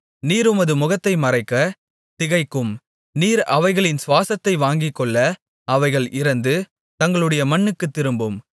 நீர் உமது முகத்தை மறைக்க திகைக்கும் நீர் அவைகளின் சுவாசத்தை வாங்கிக்கொள்ள அவைகள் இறந்து தங்களுடைய மண்ணுக்குத் திரும்பும்